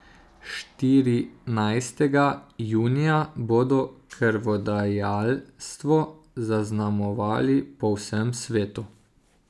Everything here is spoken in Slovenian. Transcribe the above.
Štirinajstega junija bodo krvodajalstvo zaznamovali po vsem svetu.